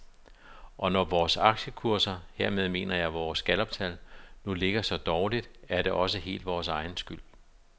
Og når vores aktiekurser, hermed mener jeg vores galluptal, nu ligger så dårligt, er det også helt vores egen skyld.